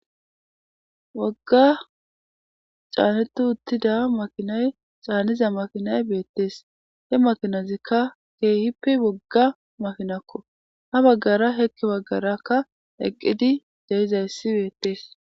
Wogga canidi uttida makinayi bettesi, he makinazikka kehippe wogga makinako ha baggaraka heni baggaraka eqidayisi betesi.